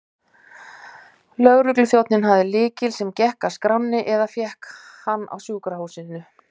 Lögregluþjónninn hafði lykil, sem gekk að skránni, eða fékk hann á sjúkrahúsinu.